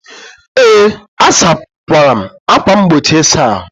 Ee, asakwara m ákwà mgbochi ịsa ahụ.